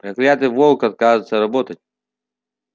проклятый волк отказывается работать